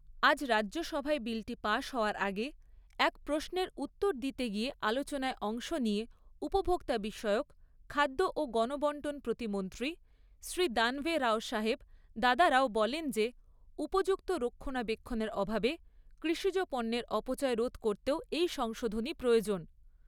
আজ রাজ্যসভায় বিলটি পাশ হওয়ার আগে, এক প্রশ্নের উত্তর দিতে গিয়ে আলোচনায় অংশ নিয়ে উপভোক্তা বিষয়ক, খাদ্য ও গণবণ্টন প্রতিমন্ত্রী শ্রী দানভে রাওসাহেব দাদারাও বলেন যে, উপযুক্ত রক্ষনাবেক্ষণের অভাবে কৃষিজ পণ্যের অপচয় রোধ করতেও এই সংশোধনী প্রয়োজন।